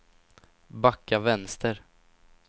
backa vänster